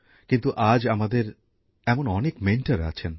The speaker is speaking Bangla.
কিন্তু আজ আমাদের এমন অনেক মেন্টর আছেন